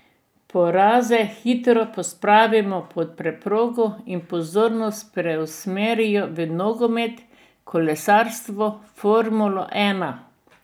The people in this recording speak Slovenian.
Poraze hitro pospravijo pod preprogo in pozornost preusmerijo v nogomet, kolesarstvo, formulo ena.